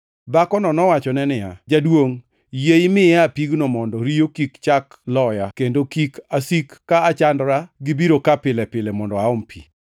Dhakono nowachone niya, “Jaduongʼ, yie imiyae pigno mondo riyo kik chak loya, kendo kik asik ka achandora gi biro ka pile pile mondo aom pi.”